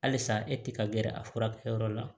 Halisa e te ka g gɛrɛ a furakɛ yɔrɔ la